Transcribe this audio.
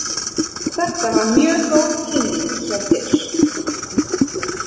Þetta var mjög góð kynning hjá þér.